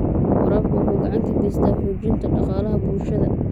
Waraabku waxa uu gacan ka geystaa xoojinta dhaqaalaha bulshada.